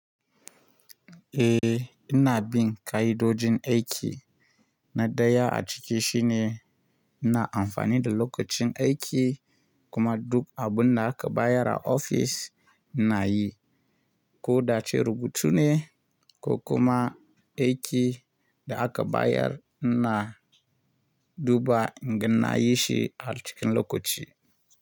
Eh ina bin ƙa'idojin aiki na daya a cikin shi ne ina amfani da lokacin aiki kuma duk abin da aka bayar a ofis na yi, ko da'a ce rubutu ne ko kuma aiki da aka bayar ina duba in ga na yi shi a cikin lokaci.